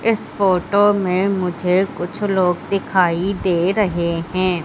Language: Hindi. इस फोटो में मुझे कुछ लोग दिखाई दे रहे हैं।